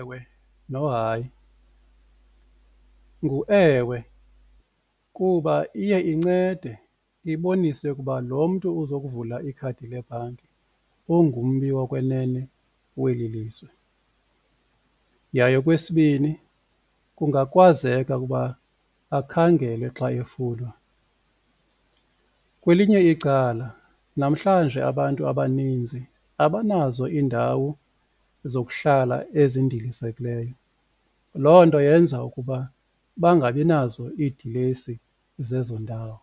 Ewe, nohayi ngu-ewe kuba iye incede ibonise ukuba lo mntu uzokuvula ikhadi lebhanki ungummi wokwenene weli lizwe, yaye okwesibini kungakwazeka ukuba akhangelwe xa efunwa. Kwelinye icala namhlanje abantu abaninzi abanazo iindawo zokuhlala ezindilisekileyo loo nto yenza ukuba bangabi nazo idilesi zezo ndawo,